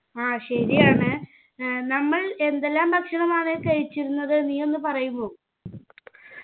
ആ ശരിയാണ് ഏർ നമ്മൾ എന്തെല്ലാം ഭക്ഷണമാണ് കഴിച്ചിരുന്നത് നീയൊന്ന് പറയുമോ